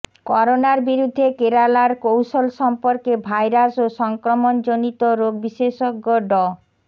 করোনার বিরুদ্ধে কেরালার কৌশল সম্পর্কে ভাইরাস ও সংক্রমণজনিত রোগ বিশেষজ্ঞ ড